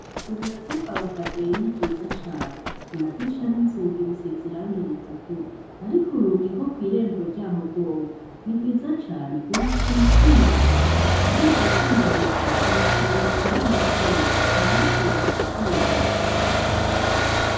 Isomero ryo kwa ba Kadoyi ni ryiza cane amadirisha inzugi bisize irangi ritukura ariko urugi rwo kw'irembo ryaho rworwo ni rwiza cane rwubatswe mu vyuma gusa kandi ivyo vyuma hejuru birasongoye nk'amacumu ntawoshobora kurwurira.